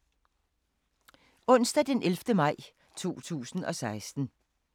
Onsdag d. 11. maj 2016